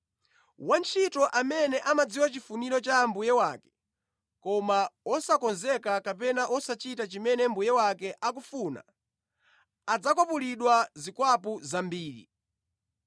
“Wantchito amene amadziwa chifuniro cha mbuye wake koma wosakonzeka kapena wosachita chimene mbuye wake akufuna adzakwapulidwa zikwapu zambiri.